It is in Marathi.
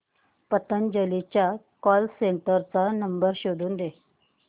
पतंजली च्या कॉल सेंटर चा नंबर शोधून दे